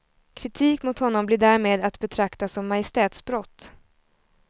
Kritik mot honom blir därmed att betrakta som majestätsbrott.